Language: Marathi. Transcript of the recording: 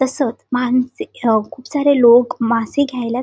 तसेच माणसे खूप सारे लोक माणसं मासे घ्यायला --